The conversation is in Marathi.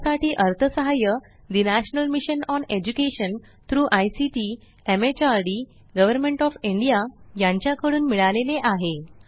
यासाठी अर्थसहाय्य ठे national mission on education through ICT MHRD government of India यांच्या कडून मिळाले आहे